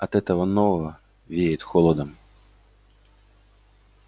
от этого нового веет холодом